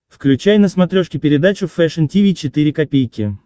включай на смотрешке передачу фэшн ти ви четыре ка